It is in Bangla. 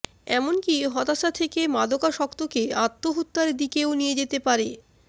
এমনকি হতাশা থেকে মাদকাসক্তকে আত্মহত্যার দিকেও নিয়ে যেতে পারে